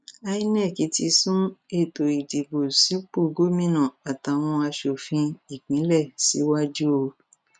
inov ti sún ètò ìdìbò sípò gómìnà àtàwọn asòfin ìpínlẹ síwájú o